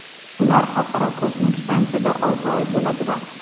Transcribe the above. Ular Xalqaro kosmik stansiyada olti oy bo‘ladilar.